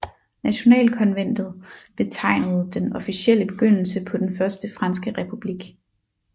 Nationalkonventet betegnede den officielle begyndelse på den Første franske republik